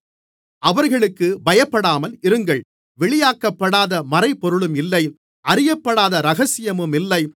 அவர்களுக்குப் பயப்படாமலிருங்கள் வெளியாக்கப்படாத மறைபொருளும் இல்லை அறியப்படாத இரகசியமும் இல்லை